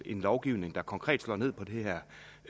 en lovgivning der konkret slår ned på det her